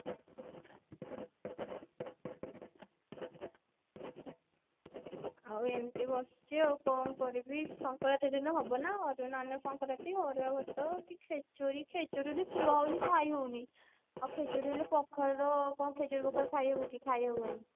ଆଉ ଏମତି ବସିଛି ଆଉ କଣ କରିବି ସଙ୍କ୍ରାନ୍ତି ଦିନ ହବ ନା ସଙ୍କ୍ରାନ୍ତି ଅରୁଆ ଭାତ କି ଖେଚୁଡି ଖେଚୁଡି ତ ଥୁଆ ହଉଛି ଖାଇ ହଉନି ଆଉ ଖେଚୁଡି ହେଲେ ସକାଳ ର କଣ ଖେଚୁଡି କଣ ଖାଇହବ କି ଖାଇହବନି